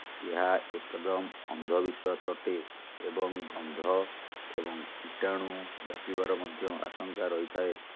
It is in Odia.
ଏହା ଏକଦମ୍ ଅନ୍ଧବିଶ୍ୱାସ ଅଟେ ଏବଂ ଗନ୍ଧ ଏବଂ କୀଟଣୁ ବ୍ୟାପିବାର ମଧ୍ୟ ଆଶଙ୍କା ରହିଥାଏ